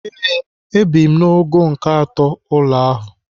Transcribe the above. Ee, ebi m n'ogo nke atọ ụlọ ahụ.